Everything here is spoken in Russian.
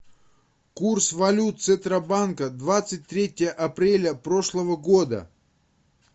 курс валют центробанка двадцать третье апреля прошлого года